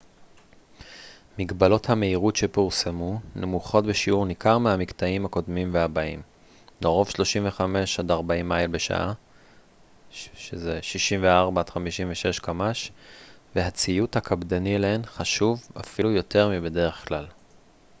"מגבלות המהירות שפורסמו נמוכות בשיעור ניכר מהמקטעים הקודמים והבאים - לרוב 35-40 מייל בשעה 56 - 64 קמ""ש - והציות הקפדני אליהן חשוב אפילו יותר מבדרך כלל.